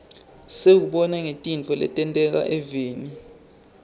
siwubona ngetintfo letenteka eveni